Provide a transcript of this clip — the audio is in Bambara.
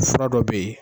Fura dɔ bɛ yen